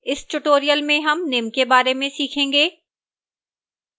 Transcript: इस tutorial में हम निम्न के बारे में सीखेंगे: